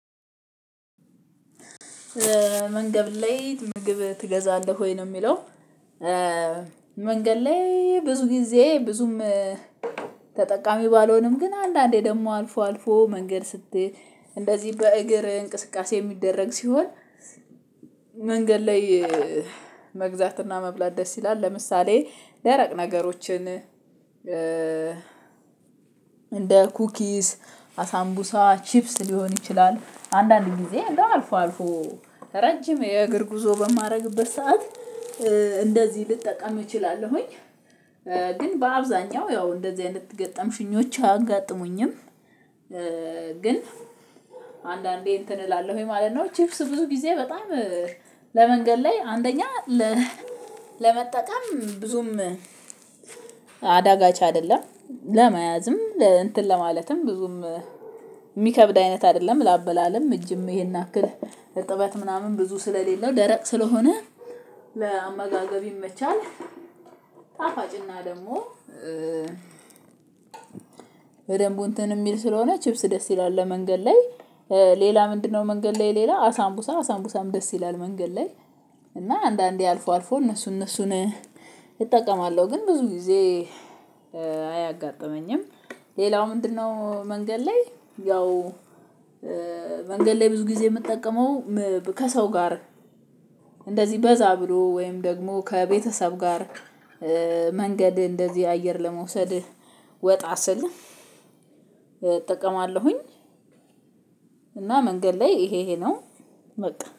መንገድ ላይ ምግብ ትገዛለህ ወይ ነው የሚለው? መንገድ ላይ ብዙ ጊዜ ብዙም ተጠቃሚ ባለሆንም ግን አንዳንዴ ደግሞ አልፎ አልፎ መንገድ ስትሄድ እንደዚህ በእግር እንቅስቃሴ የሚደረግ ሲሆን። መንገድ ላይ መግዛትና መብላት ደስ ይላል ለምሳሌ ደረቅ ነገሮችን እንደ ኩኪስ አሳምቡሳ ቺፕስ ሊሆን ይችላል አንዳንድ ጊዜ እንደው አልፎ አልፎ ረጅም የእግር ጉዞ በማደርግበት ሰዓት እንደዚህ ልጠቀም እችላለሁኝ። ግን በአብዛኛው ያው እንደዚህ አይነት ገጠምሽኞች አያጋጥሙኝም። ግን አንዳንዴ እንትን እላለሁ ወይ ማለት ነው። ቺፕስ ብዙ ጊዜ በጣም ለመንገድ ላይ አንደኛ ለመጠቀም ብዙም አዳጋች አይደለም ለመያዝም እንትን ለማለትም ብዙም የሚከብድ አይነት አይደለም ለአበላለም እጅም ይሄን አክል እጥበት ምናምን ብዙ ስለሌለው ደረቅ ስለሆነ ለአመጋገብ ይመቻል። ጣፋጭና ደግሞ በደንቡ እንትን የሚል ስለሆነ ቺፕስ ደስ ይላል ለመንገድ ላይ ሌላ ምንድነው? መንገድ ላይ ሌላ አሳምቡሳ አሳምቡሳም ደስ ይላል። መንገድ ላይ እና አንዳንዴ አልፎ አልፎ እነሱ እነሱን እጠቀማለሁ ግን ብዙ ጊዜ አያጋጥመኝም። ሌላው ምንድነው? መንገድ ላይ ያው መንገድ ላይ ብዙ ጊዜ የምጠቀመው ከሰው ጋር እንደዚህ በዛ ብሎ ወይም ደግሞ ከቤተሰብ ጋር መንገድ እንደዚህ አየር ለመውሰድ ወጣ ስል እጠቀማለሁኝ። እና መንገድ ላይ ይሄ ይሄ ነው። በቃ